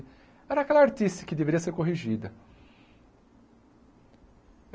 Era aquela artice que deveria ser corrigida.